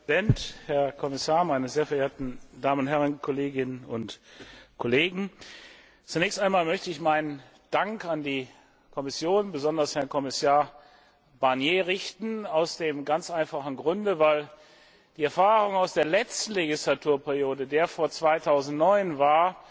Herr Präsident, Herr Kommissar, meine sehr verehrten Damen und Herren Kolleginnen und Kollegen! Zunächst einmal möchte ich meinen Dank an die Kommission, besonders an Herrn Kommissar Barnier, richten, aus dem ganz einfachen Grunde, weil die Erfahrung aus der letzten Legislaturperiode der vor 2009 war,